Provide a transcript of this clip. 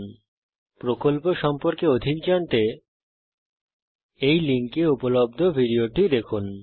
spoken tutorial প্রকল্প সম্পর্কে অধিক জানতে এই লিঙ্কে উপলব্ধ ভিডিওটি দেখুন